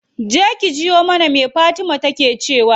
Je ki jiyo mana me fatima take cewa.